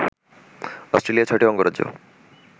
Australia ৬টি অঙ্গরাজ্য